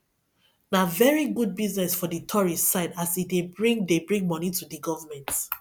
na very good business for di tourist side as e dey bring dey bring money to di government